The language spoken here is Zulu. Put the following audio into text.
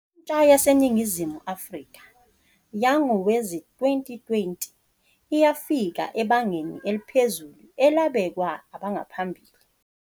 Intsha yaseNingizimu Afrika yangowezi-2020 iyafika ebangeni eliphezulu elabekwa abangaphambili.